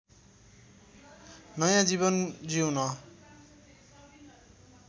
नयाँ जीवन जिउन